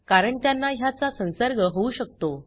कारण त्यांना ह्याचा संसर्ग होऊ शकतो